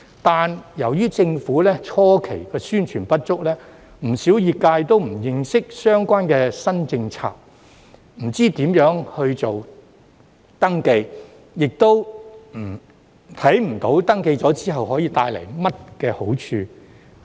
但是，由於政府的初期宣傳工作不足，不少業界也不認識相關的新政策，不知如何登記，亦看不到登記之後有何好處。